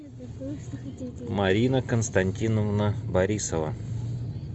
марина константиновна борисова